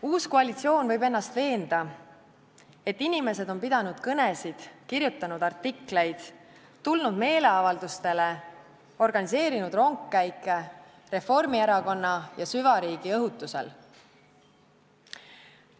Uus koalitsioon võib ennast veenda, et inimesed on pidanud kõnesid, kirjutanud artikleid, tulnud meeleavaldustele, organiseerinud rongkäike Reformierakonna ja süvariigi õhutusel.